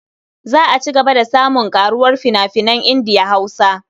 Za a ci gaba da samun ƙaruwar fina-finan Indiya-Hausa.